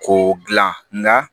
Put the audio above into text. Ko gilan nka